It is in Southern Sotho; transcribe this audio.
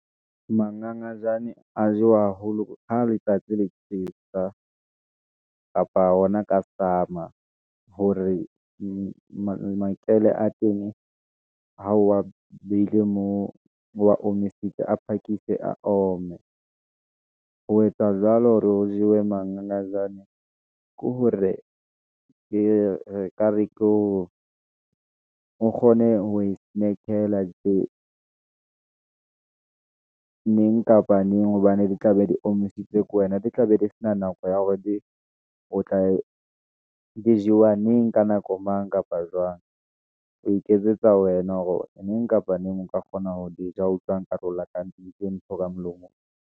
Mangangajane a jewa haholo ha letsatsi le tjhesa, kapa hona ka summer, hore makele a tene, ha wa behile moo, o wa omisitswe, a phakise a ome, ho etsa jwalo hore o jewe mangangajane, ke hore ke re ka re ke ho kgone ho e , neng kapa neng, hobane di tla be di omisitswe ke wena, di tla be di sena nako ya hore di o tla, di jewa neng, ka nako mang kapa jwang. O iketsetsa wena hore neng kapa neng, nka kgona ho di ja ha utlwang nkare o lakaditse ntho ka molomong.